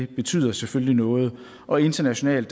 betyder selvfølgelig noget og internationalt